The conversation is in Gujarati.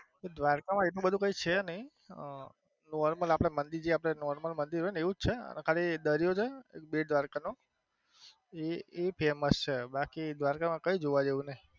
દ્વારકા માં એટલું બધું કઈ છે નઈ અમ normal આપડે મંદિર આપડે જે મંદિર normal મંદિર હોય એવું જ છે અને ખાલી દરિયો છે બેટ દ્વારકા નો એ એ famouse છે બાકી દ્વારકા માં કઈ જોવા જેવું નથી.